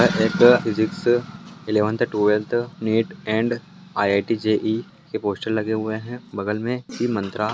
एक physics eleventh twelfth NEET and IIT JEE के poster लगे हुए है बगल में सी मंत्रा--